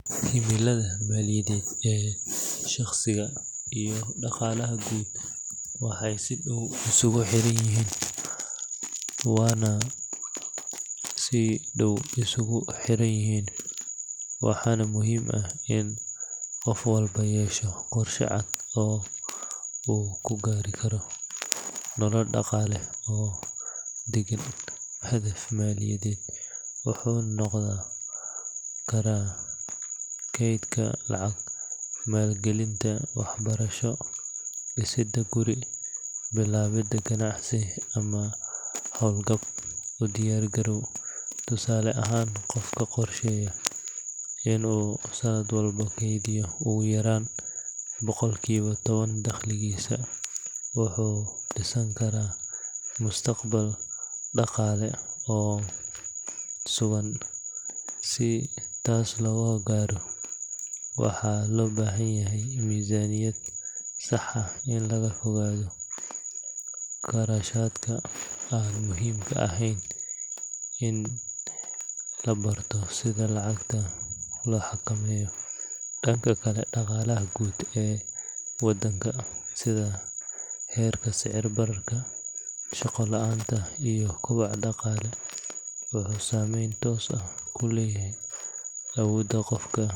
Himilada maaliyadeed ee shaqsiga iyo dhaqaalaha guud waxay si dhow isugu xiran yihiin, waana muhiim in qof walba yeesho qorshe cad oo uu ku gaari karo nolol dhaqaale oo deggan. Hadaf maaliyadeed wuxuu noqon karaa kaydsiga lacag, maalgelinta waxbarasho, dhisidda guri, bilaabidda ganacsi ama hawlgab u diyaar garow. Tusaale ahaan, qofka qorsheeya in uu sanad walba keydiyo ugu yaraan boqolkiiba toban dakhligiisa wuxuu dhisan karaa mustaqbal dhaqaale oo sugan. Si taas loo gaaro, waxaa loo baahan yahay miisaaniyad sax ah, in laga fogaado kharashaadka aan muhiimka ahayn iyo in la barto sida lacagta loo xakameeyo. Dhanka kale, dhaqaalaha guud ee waddanka sida heerka sicir-bararka, shaqo la’aanta iyo kobaca dhaqaale wuxuu saameyn toos ah ku leeyahay awoodda qofka.